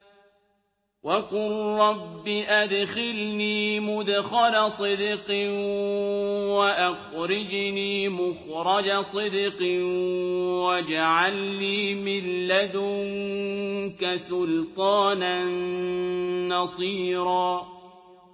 وَقُل رَّبِّ أَدْخِلْنِي مُدْخَلَ صِدْقٍ وَأَخْرِجْنِي مُخْرَجَ صِدْقٍ وَاجْعَل لِّي مِن لَّدُنكَ سُلْطَانًا نَّصِيرًا